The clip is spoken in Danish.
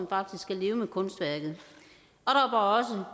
faktisk skal leve med kunstværket og